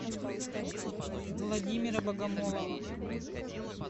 владимира богомолова